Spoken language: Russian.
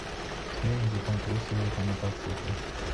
фильм где том круз едет на мотоцикле